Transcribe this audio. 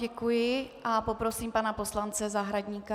Děkuji a poprosím pana poslance Zahradníka.